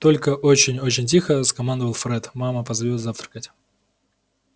только очень очень тихо скомандовал фред мама позовёт завтракать